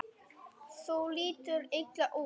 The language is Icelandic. Þú lítur illa út